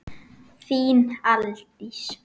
Þín Aldís.